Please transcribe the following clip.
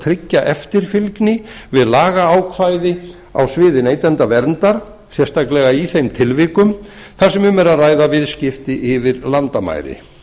tryggja eftirfylgni við lagaákvæði á sviði neytendaverndar sérstaklega í þeim tilvikum þar sem um er að ræða viðskipti yfir landamæri